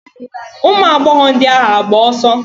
Ụmụagbọghọ ndị ahụ agba ọsọ?